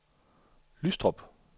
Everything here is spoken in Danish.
Lystrup